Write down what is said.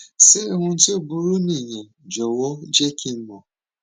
ṣé ohun tó burú nìyẹn jọwọ jẹ kí n mọ